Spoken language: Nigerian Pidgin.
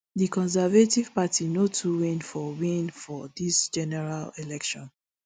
di conservative party no too win for win for dis general election